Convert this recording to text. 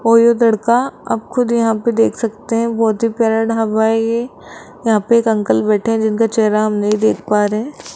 और ये लड़का आप खुद यहां पे देख सकते हैं बहुत ही प्यारा ढाबा है ये यहां पे एक अंकल बैठे हैं जिनके चेहरा हम नहीं देख पा रहे हैं।